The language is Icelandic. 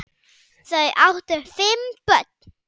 Þau áttu fimm börn.